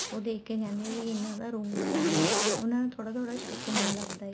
ਉਹ ਦੇਖਕੇ ਕਹਿੰਦੀ ਆ ਵੀ ਇਹਨਾ ਦਾ room ਹੈ ਇਹ ਉਹਨਾ ਨੂੰ ਥੋੜਾ ਥੋੜਾ ਸ਼ੱਕ ਹੋਣ ਲੱਗਦਾ ਏ